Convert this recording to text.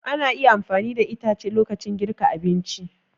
Ana iya amfani da itace lokacin girka abinci.